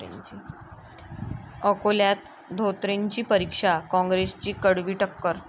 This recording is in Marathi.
अकोल्यात धोत्रेंची परीक्षा, काँग्रेसची कडवी टक्कर!